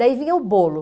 Daí vinha o bolo.